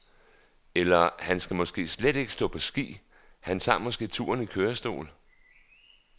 Eller han skal måske slet ikke stå på ski, han tager måske turen i kørestol.